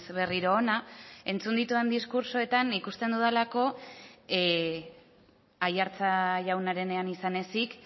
berriro hona entzun ditudan diskurtsoetan ikusten dudalako aiartza jaunarenean izan ezik